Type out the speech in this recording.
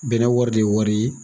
Bɛnɛ wari de ye wari ye.